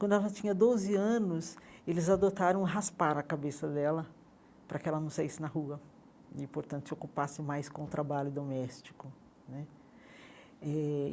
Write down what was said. Quando ela já tinha doze anos, eles adotaram raspar a cabeça dela para que ela não saísse na rua e, portanto, se ocupasse mais com o trabalho doméstico né eh.